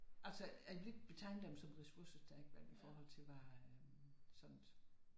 Altså jeg ville ikke betegne dem som ressourcestærke vel i forhold til hvad øh sådan